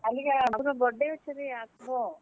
କାଲିକା ବାବୁର birthday ଅଛେ ରେ ଆସ୍ ବ।